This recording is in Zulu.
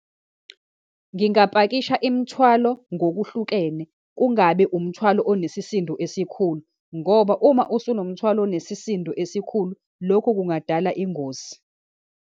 Ngingapakisha imithwalo ngokuhlukene, kungabi umthwalo onesisindo esikhulu, ngoba uma usunomthwalo onesisindo esikhulu, lokhu kungadala ingozi.